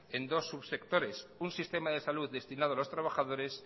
en dos subsectores un sistema de salud destinado a los trabajadores